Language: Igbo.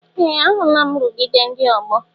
Ee! Ahụla m nrụgide ndị ọgbọ.